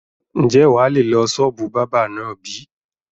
Ń jẹ́ wá lè lọ sọ́ọ́bù báábà náà bí?